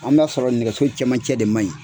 An b'a sɔrɔ nɛgɛso camancɛ de manɲi